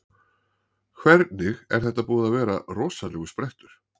Hvernig, er þetta búinn að vera rosalegur sprettur?